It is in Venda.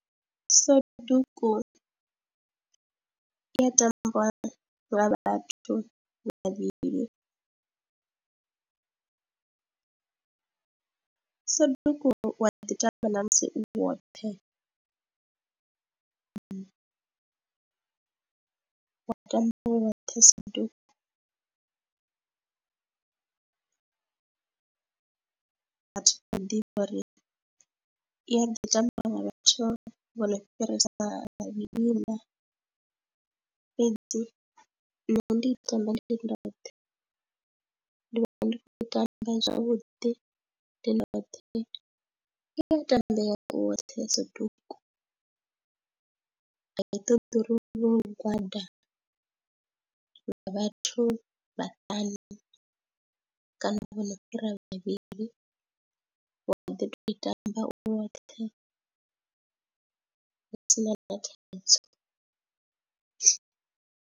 Soduku i ya tambiwa nga vhathu vhavhili, Soduku wa ḓi tamba na musi u woṱhe, u wa tamba u woṱhe Soduku, vhathu vha ḓi vha uri i a ḓi tambiwa nga vhathu vho no fhirisa miṋa fhedzi nṋe ndi i tamba ndi ndoṱhe, ndi vhona ndi khou i tamba zwavhuḓi ndi ndoṱhe i ya tambea u woṱhe Soduku, a i toḓi uri u vhe u lugwada lwa vhathu vhaṱanu kana vho no fhira vhavhili, wa ḓi tou i tamba u woṱhe hu si na thaidzo.